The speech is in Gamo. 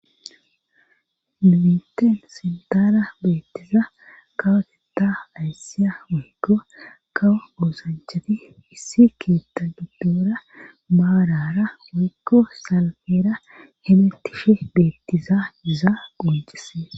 Nu biteen sintaara beettiza kawateta ayssiya woykko kawo oosanchati issi keetta giddoora maarara waykko salfeera hemetishi beettizaa iza qoncises